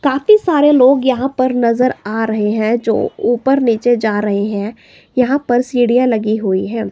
काफी सारे लोग यहां पर नजर आ रहे हैं जो ऊपर नीचे जा रहे हैं यहां पर सीढ़ियां लगी हुई हैं।